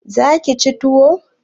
Za ki ci tuwo?